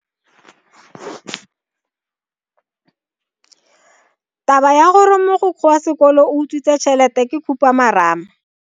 Taba ya gore mogokgo wa sekolo o utswitse tšhelete ke khupamarama.